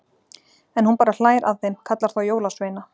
En hún bara hlær að þeim, kallar þá jólasveina.